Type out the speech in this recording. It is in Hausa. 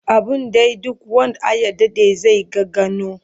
Abun dai duk wand Aya Dade zai ga ganao